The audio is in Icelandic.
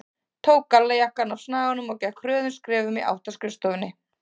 Tók gallajakkann af snaganum og gekk hröðum skrefum í átt að skrifstofunni.